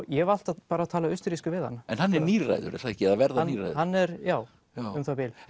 ég hef alltaf bara talað austurrísku við hann hann er níræður er það ekki eða að verða níræður hann er já um það bil